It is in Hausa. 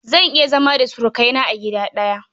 Zan iya zama da surukaina a gida ɗaya.